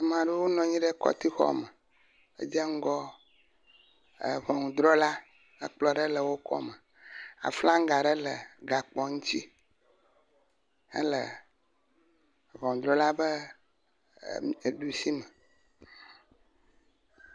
Ame aɖewo nɔ anyi ɖe kɔti xɔ me edze ŋgɔ ʋunudrɔla. Ekplɔ ɖe wò kɔme. Aflanga aɖe le gakpoa ŋuti hele ʋunudrɔla ƒe didi me